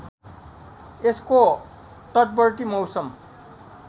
यसको तटवर्ती मौसम